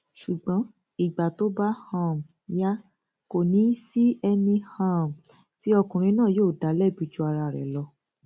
ṣùgbọn ìgbà tó bá um yá kò ní í sí ẹni um tí ọkùnrin náà yóò dá lẹbi ju ara rẹ lọ